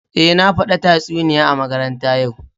Eh, na fada tatsuniya a makaranta ya'u